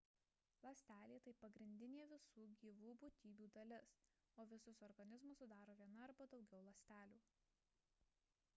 ląstelė – tai pagrindinė visų gyvų būtybių dalis o visus organizmus sudaro viena arba daugiau ląstelių